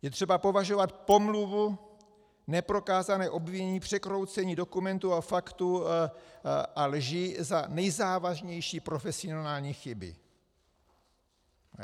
Je třeba považovat pomluvu, neprokázané obvinění, překroucení dokumentů a faktů a lži za nejzávažnější profesionální chyby.